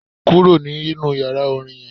Kúrò nínú yàrá Orin yen